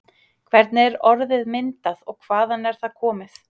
Hvernig er orðið myndað og hvaðan er það komið?